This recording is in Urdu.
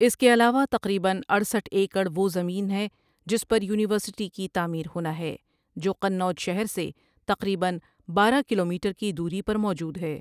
اس کے علاوہ تقریبا اٹھسٹھ ؍ایکڑ وہ زمین ہے جس پر یونیورسٹی کی تعمیر ہونا ہے جو قنوج شہر سے تقریبا بارہ ؍ کلو میٹر کی دوری پر موجود ہے۔